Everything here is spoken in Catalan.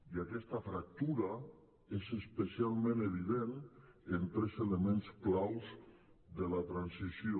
i aquesta fractura és especialment evident en tres elements claus de la transició